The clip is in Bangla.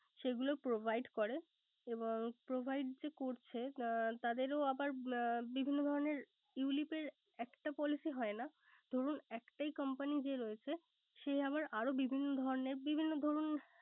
সেগুলো provide করে এবং provide যে করছে তাদেরও আবার বিভিন্ন ধরনের ulip এর একটা policy হয় না। ধরুন একটাই company যে রয়েছে। যে আরো বিভিন্ন ধরনের, বিভিন্ন ধরুন